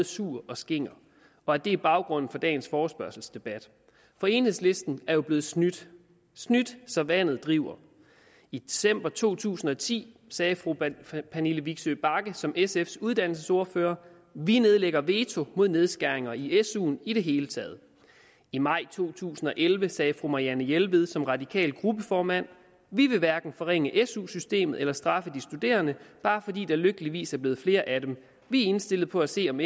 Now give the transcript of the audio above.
sur og skinger og at det er baggrunden for dagens forespørgselsdebat for enhedslisten er jo blevet snydt snydt så vandet driver i december to tusind og ti sagde fru pernille vigsø bagge som sfs uddannelsesordfører vi nedlægger veto mod nedskæringer i i suen i det hele taget i maj to tusind og elleve sagde fru marianne jelved som radikal gruppeformand vi vil hverken forringe su systemet eller straffe de studerende bare fordi der lykkeligvis er blevet flere af dem vi er indstillet på at se om